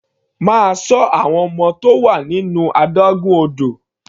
Máa ṣọ àwọn ọmọ tó wà nínú adágún odò.